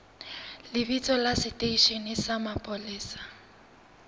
lebitso la seteishene sa mapolesa